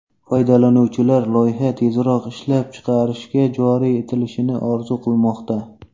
Foydalanuvchilar loyiha tezroq ishlab chiqarishga joriy etilishini orzu qilmoqda.